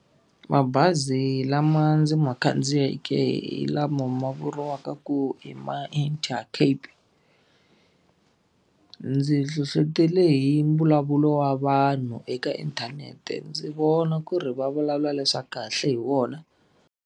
Mabazi lama ndzi ma khandziyeke hi lama ma vuriwaka ku i ma Intercape. Ndzi nhlohletele hi mbulavulo wa vanhu eka inthanete ndzi vona ku ri va vulavula leswaku kahle hi wona.